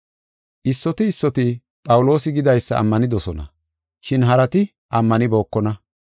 Issoti issoti Phawuloosi gidaysa ammanidosona, shin harati ammanibookona.